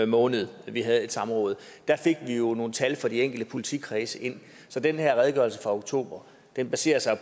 måned at vi havde et samråd fik vi nogle tal ind fra de enkelte politikredse så den her redegørelse fra oktober baserer sig